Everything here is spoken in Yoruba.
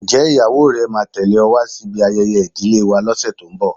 Ǹjẹ́ ìyàwó rẹ máa tẹle ọ wá sí ibi ayẹyẹ ìdílé wa lọse tó ń bọ̀?